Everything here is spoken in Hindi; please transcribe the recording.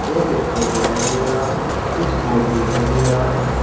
एक स्टूल दिखाई दे रहा है कुछ बोर्ड दिखाई दे रहा है।